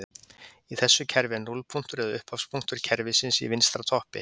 Í þessu kerfi er núllpunktur eða upphafspunktur kerfisins í vinstra toppi.